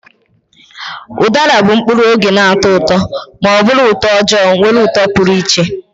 Udara bụ mkpụrụ oge na-atọ ụtọ ma ọ bụ utoojoo nwere uto pụrụ iche.